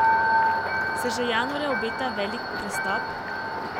Se že januarja obeta velik prestop?